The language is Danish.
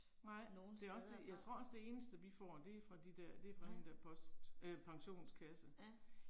Nogen steder fra. Mh. Ja